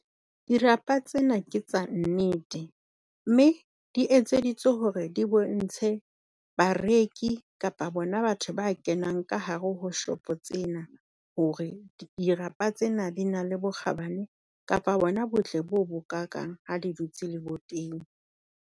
Dirapa tsena ke tsa nnete, mme di etseditswe hore di bontshe bareki kapa bona batho ba kenang ka hare ho shop tsena hore dirapa tsena di na le bokgabane. Kapa bona botle bo bo kakang ha di dutse leboteng.